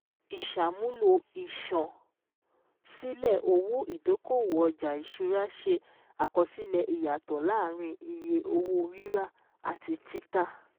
Ìsàmúlò ìṣan-sílẹ̀ owó ìdókòwò ọjà ìṣúra ṣe àkọsílẹ̀ ìyàtò láàárín iye owó rírà àti títà